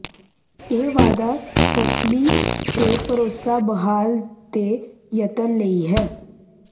ਇਹ ਵਾਧਾ ਤਸੱਲੀ ਤੇ ਭਰੋਸਾ ਬਹਾਲੀ ਦੇ ਯਤਨ ਲਈ ਹੈ